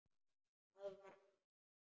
Aðvarar hana.